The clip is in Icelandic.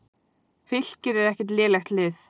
Fylkir er ekkert lélegt lið.